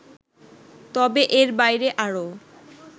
তবে এর বাইরে আরও